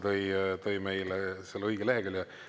Proua minister tõi meile selle õige lehekülje.